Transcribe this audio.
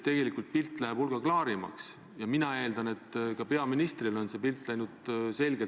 Nüüd, eriti veel tippkohtumise eel arvan ma, et kõik riigid pingutavad, et see ühtsuse sõnum muutuks ainult tugevamaks.